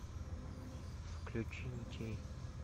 включи ничей